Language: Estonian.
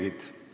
Aitäh teile!